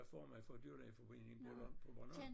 Hvad får man for dyrlægeforeningen på Bornholm?